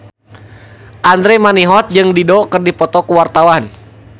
Andra Manihot jeung Dido keur dipoto ku wartawan